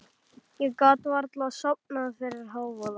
Ég gat varla sofnað fyrir hávaða.